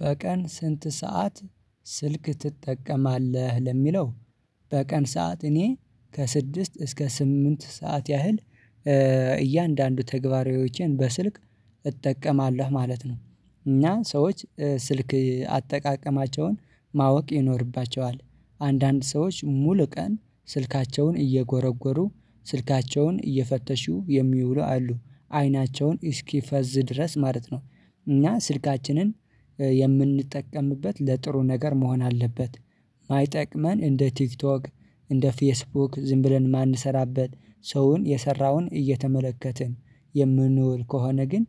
በቀን ስንት ሰዓት ስልክ ትጠቀማለህ ለሚለው? በቀን ሰዓት እኔ ከስድስት እስከ ስምንት ሰዓት ያህል እያንዳንዱ ተግባራዊዎችን በስልክ እጠቀማለሁ ማለት ነው። እና ሰዎች ስልክ አጠቃቀማቸውን ማወቅ ይኖርባቸዋል አንዳንድ ሰዎች ሙሉ ቀን ስልካቸውን እየጎረጎሩ ስልካቸውን እየፈተሹ የሚውሉ አሉ አይናቸውን እስኪፈዝ ድረስ ማለት ነው። እና ስልካችንን የምንጠቀምበት ለጥሩ ነገር መሆን አለበት። የማይጠቅመን እንደ ቲክቶክ እንደ ፌስቡክ ዝም ብለን ማንሰራበት ሰውን የሰራውን እየተመለከትን የምንውል ከሆነ ግን